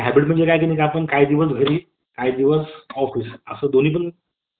आणि hybrid म्हणजे काय करायचे आपण म्हणजे आपण काही दिवस घरी काही दिवस office असं दोनी पण